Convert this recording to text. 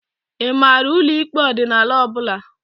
I maara ụlọ ikpe ọdịnala ọbụla?